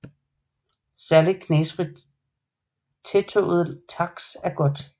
Særligt knastfrit tætåret taks er godt